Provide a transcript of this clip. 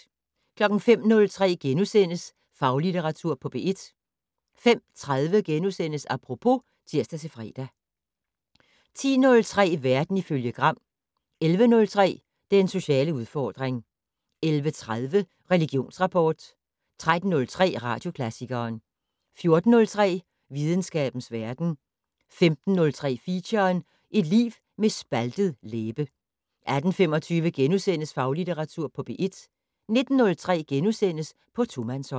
05:03: Faglitteratur på P1 * 05:30: Apropos *(tir-fre) 10:03: Verden ifølge Gram 11:03: Den sociale udfordring 11:30: Religionsrapport 13:03: Radioklassikeren 14:03: Videnskabens verden 15:03: Feature: Et liv med en spaltet læbe 18:25: Faglitteratur på P1 * 19:03: På tomandshånd *